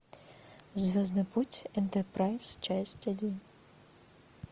звездный путь энтерпрайз часть один